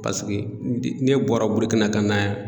Paseke ne bɔra Burukina ka na yan.